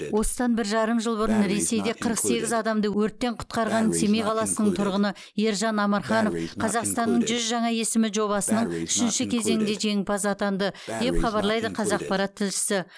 осыдан бір жарым жыл бұрын ресейде қырық сегіз адамды өрттен құтқарған семей қаласының тұрғыны ержан амарханов қазақстанның жүз жаңа есімі жобасының үшінші кезеңінде жеңімпаз атанды деп хабарлайды қазақпарат тілшісі